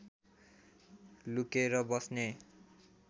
लुकेर बस्ने